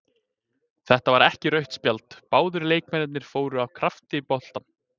Þetta var ekki rautt spjald, báðir leikmennirnir fóru af krafti í boltann.